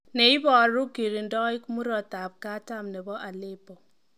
Ne iboru kirindoik murot katam nebo Aleppo.